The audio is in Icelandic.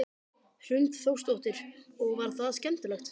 Hrund Þórsdóttir: Og var það skemmtilegt?